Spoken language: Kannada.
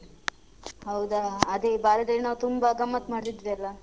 ಹೌದ ಅದೇ ಬಾಲ್ಯದಲ್ ನಾವ್ ತುಂಬಾ ಗಮ್ಮತ್ತ್ ಮಾಡ್ ತಿದ್ವಿ ಅಲ್ಲ?